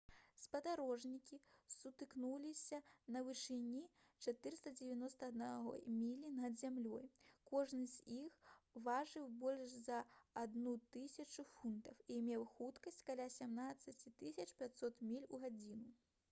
спадарожнікі сутыкнуліся на вышыні 491 міля над зямлёй кожны з іх важыў больш за 1000 фунтаў і меў хуткасць каля 17 500 міль у гадзіну